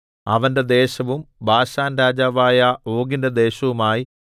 അവന്റെ ദേശവും ബാശാൻരാജാവായ ഓഗിന്റെ ദേശവുമായി